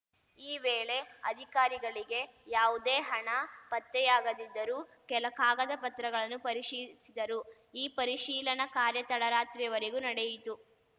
ಈ ವೇಳೆ ಅಧಿಕಾರಿಗಳಿಗೆ ಯಾವುದೇ ಹಣ ಪತ್ತೆಯಾಗದಿದ್ದರೂ ಕೆಲ ಕಾಗದ ಪತ್ರಗಳನ್ನು ಪರಿಶೀಲಿಸಿದರು ಈ ಪರಿಶೀಲನಾ ಕಾರ್ಯ ತಡರಾತ್ರಿವರೆಗೂ ನಡೆಯಿತು